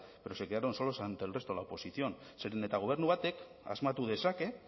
pero se quedaron solos ante el resto de la oposición zeren eta gobernu batek asmatu dezake